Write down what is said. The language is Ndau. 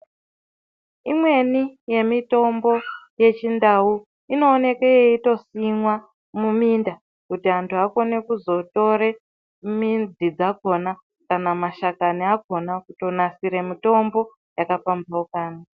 Imweni yemitombo yechindau inoonekwe yeitosimwa muminda kuti antu akone kuzotorw midzi dzakona kana mashakani akhona Kunasire mitombo yakapambaukana.